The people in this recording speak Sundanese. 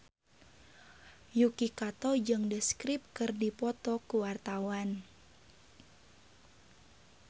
Yuki Kato jeung The Script keur dipoto ku wartawan